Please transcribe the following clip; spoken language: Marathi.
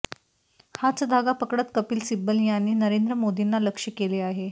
हाच धागा पकडत कपिल सिब्बल यांनी नरेंद्र मोदींना लक्ष्य केले आहे